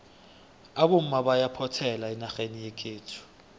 abomma bayaphothela enarheni yekhethu